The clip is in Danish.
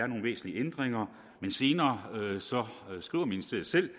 nogen væsentlige ændringer men senere skriver ministeriet selv